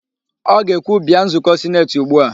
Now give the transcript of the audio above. Ọ ga-ekwu, "bịa nzụkọ sineti ugbu a"!